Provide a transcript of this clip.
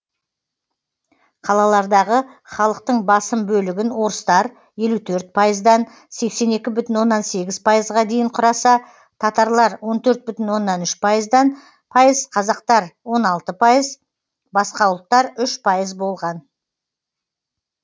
қалалардағы халықтың басым бөлігін орыстар елу төрт пайыздан сексен екі бүтін оннан сегіз пайызға дейін құраса татарлар он төрт бүтін оннан үш пайыздан пайыз қазақтар он алты пайыз басқа ұлттар үш пайыз болған